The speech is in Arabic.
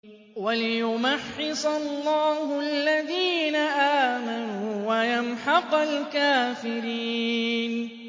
وَلِيُمَحِّصَ اللَّهُ الَّذِينَ آمَنُوا وَيَمْحَقَ الْكَافِرِينَ